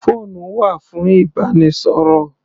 Phone wà fún ìbánisọ̀rọ̀.